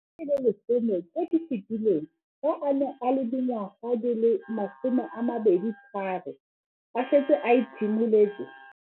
Dingwaga di le 10 tse di fetileng, fa a ne a le dingwaga di le 23 mme a setse a itshimoletse.